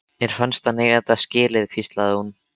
Mér fannst hann eiga þetta skilið- hvíslaði hún.